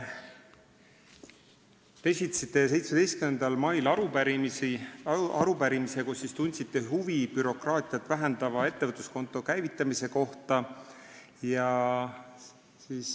Te esitasite 17. mail arupärimise, kus tundsite huvi bürokraatiat vähendava ettevõtluskonto käivitamise kohta.